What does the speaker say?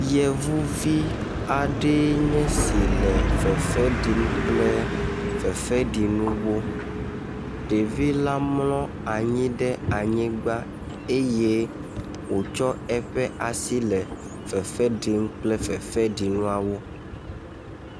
Yevuvi aɖea nye esi le fefe ɖim kple eƒe fefeɖinuwo. Ɖevi la mlɔ anyi ɖe anyigba eye wotsɔ eƒe asi le fefe ɖim kple fefeɖinuawo.